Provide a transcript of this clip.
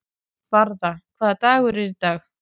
Varða, hvaða dagur er í dag?